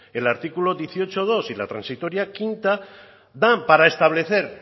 el artículo dieciocho punto dos y la transitoria quinta dan para establecer